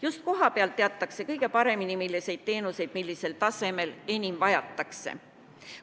Just kohapeal teatakse kõige paremini, milliseid teenuseid, millisel tasemel enim vajatakse.